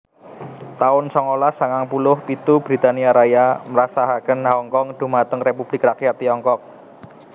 taun songolas sangang puluh pitu Britania Raya masrahaken Hongkong dhumateng Republik Rakyat Tiongkok